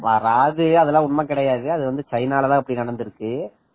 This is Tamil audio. நா ராஜியவே அதெல்லாம் உண்மை கிடையாது அது சைனால தான் அப்படி நடந்து இருக்கு